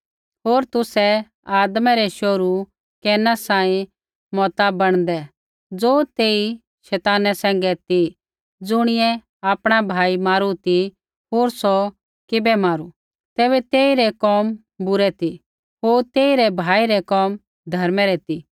होर तुसै आदमा रै शोहरू कैना सांही मता बणदै ज़ो तेई शैताना सैंघै ती ज़ुणियै आपणा भाई मारू ती होर सौ किबै मारू तैबै तेई रै कोम बूरै ती होर तेई रै भाई रै कोम धर्मै रै ती